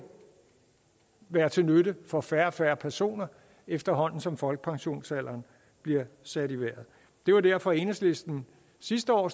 være til nytte for færre og færre personer efterhånden som folkepensionsalderen bliver sat i vejret det var derfor enhedslisten sidste år